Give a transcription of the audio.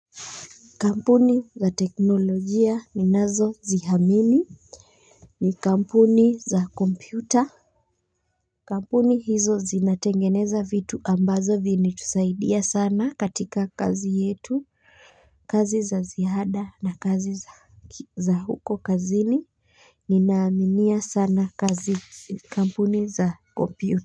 Kampuni za teknolojia ninazoziamini ni kampuni za kompyuta. Kampuni hizo zinatengeneza vitu ambazo vini tusaidia sana katika kazi yetu kazi za ziada na kazi za huko kazini. Ninaaminia sana kazi kampuni za kompyuta.